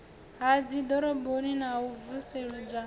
ha dziḓoroboni na u vusuludzwa